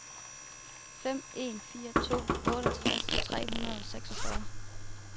fem en fire to otteogtres tre hundrede og seksogfyrre